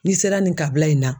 N'i sera nin kabila in na